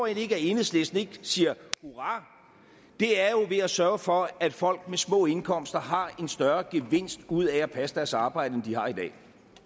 ikke at enhedslisten ikke siger hurra er jo ved at sørge for at folk med små indkomster har en større gevinst ud af at passe deres arbejde end de har i dag